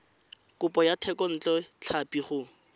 kopo ya thekontle tlhapi go